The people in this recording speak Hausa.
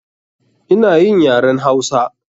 Ina yin yaren Hausa.